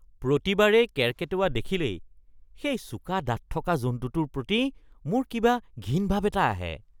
প্ৰতিবাৰেই কেৰ্কেটুৱা দেখিলেই সেই চোকা দাঁত থকা জন্তুটোৰ প্ৰতি মোৰ কিবা ঘিণ ভাৱ এটা আহে। (ব্যক্তি ২)